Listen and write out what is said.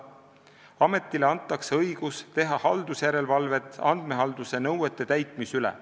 Ametile antakse õigus teha haldusjärelevalvet andmehalduse nõuete täitmise üle.